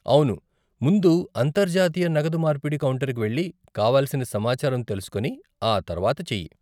అవును ముందు అంతర్జాతీయ నగదు మార్పిడి కౌంటర్కి వెళ్లి కావలసిన సమాచారం తెలుసుకొని ఆ తర్వాత చెయ్యి.